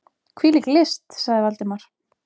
Hvílík list! sagði Valdimar.